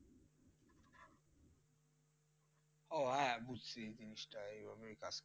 আহ হ্যাঁ বুঝছি জিনিসটা এইভাবে কাজ